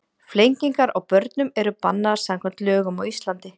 Flengingar á börnum eru bannaðar samkvæmt lögum á Íslandi.